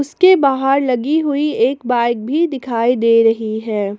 उसके बाहर लगी हुई एक बाइक भी दिखाई दे रही है।